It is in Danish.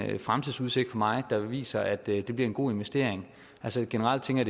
fremtidsudsigt for mig der viser at det bliver en god investering altså generelt tænker